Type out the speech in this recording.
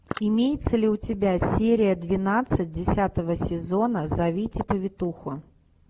имеется ли у тебя серия двенадцать десятого сезона зовите повитуху